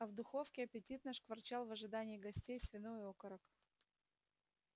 а в духовке аппетитно шкварчал в ожидании гостей свиной окорок